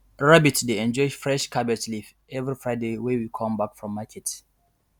rabbit dey enjoy fresh cabbage leaf every friday wey we come back from market